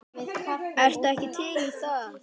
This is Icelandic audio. Ertu ekki til í það?